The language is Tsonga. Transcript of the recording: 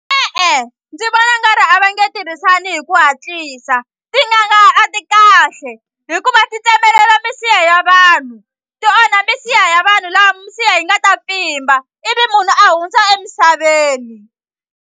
E-e ndzi vona nga ri a va nge tirhisani hi ku hatlisa tin'anga a ti kahle hikuva ti tsemelela misiha ya vanhu ti onha misiha ya vanhu lava misiha yi nga ta pfimba ivi munhu a hundza emisaveni.